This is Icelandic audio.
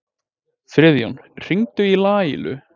Friðjón, hringdu í Laílu.